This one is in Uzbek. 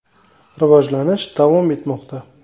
Rivojlanish davom etmoqda.